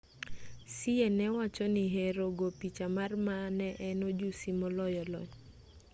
hsieh ne wachoni hero go picha mar ma ne en ojusi moloyo lony